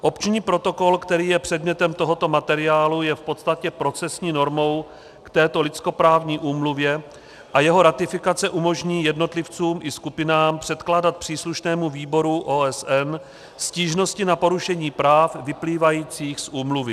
Opční protokol, který je předmětem tohoto materiálu, je v podstatě procesní normou k této lidskoprávní úmluvě a jeho ratifikace umožní jednotlivcům i skupinám předkládat příslušnému výboru OSN stížnosti na porušení práv vyplývajících z úmluvy.